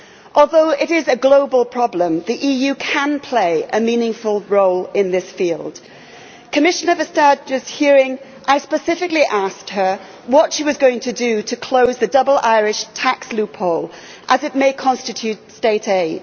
Although it is a global problem, the EU can play a meaningful role in this field. At Commissioner Vestagerʼs hearing I specifically asked her what she was going to do to close the ʽdouble Irishʼ tax loophole as it may constitute state aid.